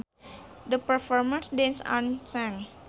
The performers danced and sang